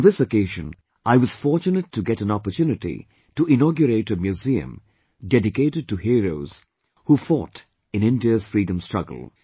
On this occasion I was fortunate to get an opportunity to inaugurate a museum dedicated to heroes who fought in India's freedom struggle